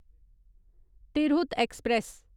Tirhut express